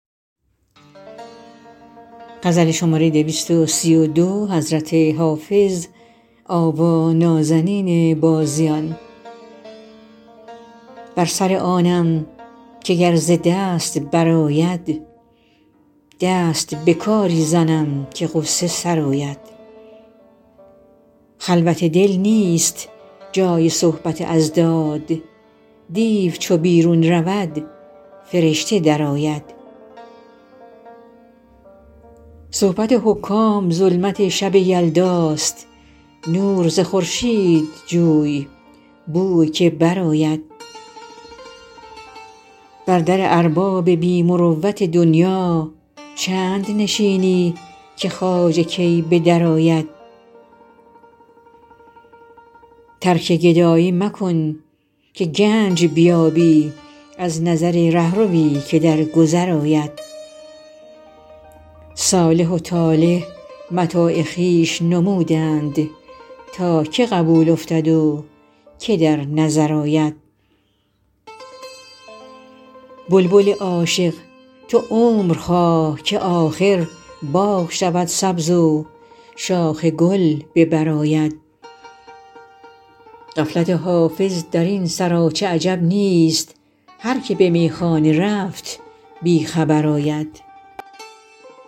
بر سر آنم که گر ز دست برآید دست به کاری زنم که غصه سرآید خلوت دل نیست جای صحبت اضداد دیو چو بیرون رود فرشته درآید صحبت حکام ظلمت شب یلداست نور ز خورشید جوی بو که برآید بر در ارباب بی مروت دنیا چند نشینی که خواجه کی به درآید ترک گدایی مکن که گنج بیابی از نظر رهروی که در گذر آید صالح و طالح متاع خویش نمودند تا که قبول افتد و که در نظر آید بلبل عاشق تو عمر خواه که آخر باغ شود سبز و شاخ گل به بر آید غفلت حافظ در این سراچه عجب نیست هر که به میخانه رفت بی خبر آید